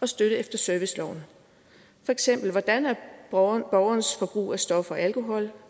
og støtte efter serviceloven for eksempel hvordan borgerens forbrug af stoffer og alkohol